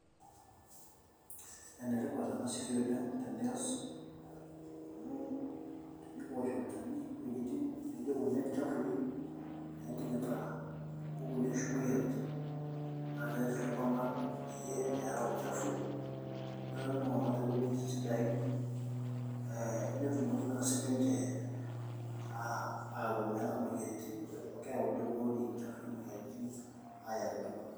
This work is so important when you do because when we spray dirty areas like thee ones that are infested with pests and diseases then it will help people to live in good places and avoid diseases because this dirty places can bring diseases to people.